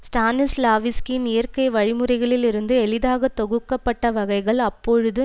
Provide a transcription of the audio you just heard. ஸ்டானிஸ்லாவிஸ்கியின் இயற்கை வழிமுறைகளில் இருந்து எளிதாக தொகுக்க பட்ட வகைகள் அப்பொழுது